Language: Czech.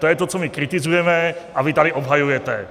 To je to, co my kritizujeme a vy tady obhajujete.